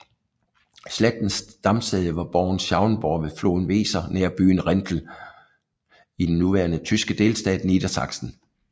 Slægtens stamsæde var borgen Schauenburg ved floden Weser nær byen Rinteln i den nuværende tyske delstat Niedersachsen